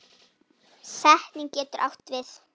Setning getur átt við